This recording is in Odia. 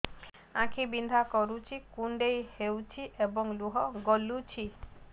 ଆଖି ବିନ୍ଧା କରୁଛି କୁଣ୍ଡେଇ ହେଉଛି ଏବଂ ଲୁହ ଗଳୁଛି